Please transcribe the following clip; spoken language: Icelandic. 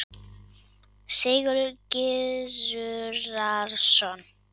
Sigurður Gizurarson.